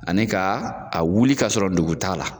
Ani ka a wuli ka sɔrɔ dugu t'a la.